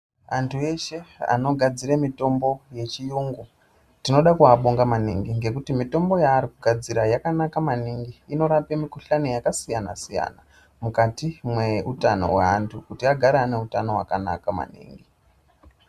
Antu eshe anogadzira mutombo yechiyungu tinoda kuvabonga maningi ngekuti mutombo yaari kugadzira yakanaka maningi inorape mukuhlani dzakasiyana siyana mukati meutano mevandu kuti agare aneutano wakanaka.